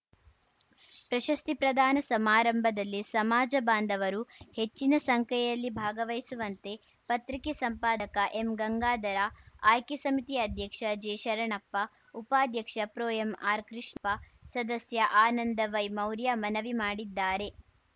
ಪ್ರಶಸ್ತಿ ಪ್ರದಾನ ಸಮಾರಂಭದಲ್ಲಿ ಸಮಾಜ ಬಾಂದವರು ಹೆಚ್ಚಿನ ಸಂಖ್ಯೆಯಲ್ಲಿ ಭಾಗವಹಿಸುವಂತೆ ಪತ್ರಿಕೆ ಸಂಪಾದಕ ಎಂಗಂಗಾಧರ ಆಯ್ಕೆ ಸಮಿತಿ ಅಧ್ಯಕ್ಷ ಜೆಶರಣಪ್ಪ ಉಪಾಧ್ಯಕ್ಷ ಪ್ರೊಎಂಆರ್‌ಕೃಷ್ಣಪ್ಪ ಸದಸ್ಯ ಆನಂದ ವೈಮೌರ್ಯ ಮನವಿ ಮಾಡಿದ್ದಾರೆ